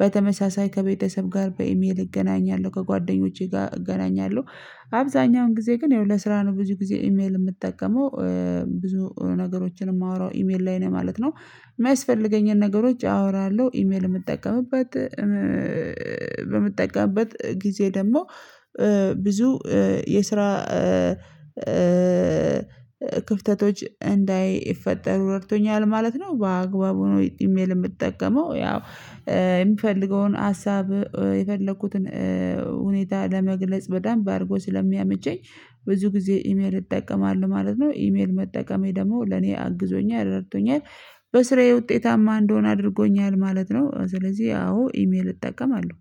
በተመሳሳይ ከቤተሰብ ጋር በኢሜል እገናኛለሁ ከጓደኞቼ ጋር እገናኛለሁ። አብዛኛውን ጊዜ ግን ያው ለስራ ነው ብዙ ጊዜ ኢሜል የምጠቀመው ብዙ ነገሮችን የማወራው ኢሜል ላይ ነው ማለት ነው። የማያስፈልገኝን ነገሮች አወራለሁ ኢሜል የምጠቀምበት በምጠቀምበት ጊዜ ደግሞ ብዙ የስራ ክፍተቶች እንዳይፈጠሩ ረድቶኛል ማለት ነው። በአግባቡ ነው ኢሜል የምጠቀመው ያው የምፈልገውን ሀሳብ የፈለኩትን ሁኔታ ለመግለጽ በደምብ አድርጎ ስለሚያቸኝ ብዙ ጊዜ ኢሜል እጠቀማለሁ ማለት ነው። ኢሜል መጠቀሜ ደግሞ ለኔ አግዞኛል አረድቶኛል በስራዬ ውጤታማ እንድሆን አድርጎኛል ማለት ነው። ስለዚህ አዎ ኢሜል እጠቀማለሁ